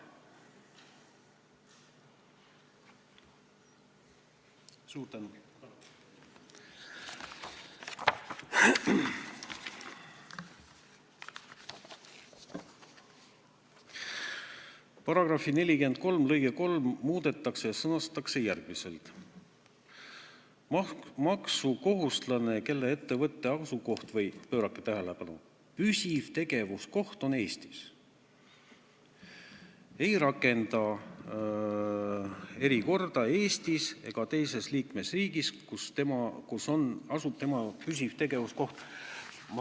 "Paragrahvi 43 lõige 3 muudetakse ja sõnastatakse järgmiselt: "Maksukohustuslane, kelle ettevõtte asukoht või püsiv tegevuskoht on Eestis, ei rakenda erikorda Eestis ega teises liikmesriigis, kus asub tema püsiv tegevuskoht.